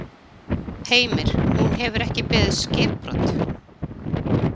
Heimir: Hún hefur ekki beðið skipbrot?